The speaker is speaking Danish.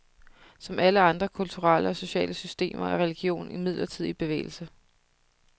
Som alle andre kulturelle og sociale systemer er religion imidlertid i bevægelse.